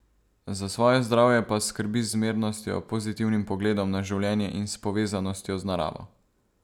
Za svoje zdravje pa skrbi z zmernostjo, pozitivnim pogledom na življenje in s povezanostjo z naravo.